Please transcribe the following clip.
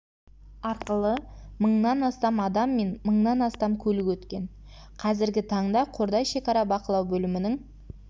арқылы мыңнан астам адам мен мыңнан астам көлік өткен қазіргі таңда қордай шекара бақылау бөлімінің